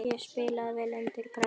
Ég spilaði vel undir pressu.